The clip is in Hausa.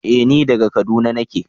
Eh ni daga kaduna nake.